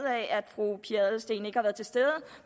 fru pia adelsteen ikke har været til stede